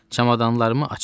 Çamadanlarımı açdım.